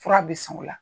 Fura bɛ san o la